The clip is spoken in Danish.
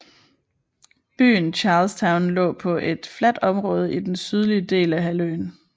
Byen Charlestown lå på et fladt område i den sydlige del af halvøen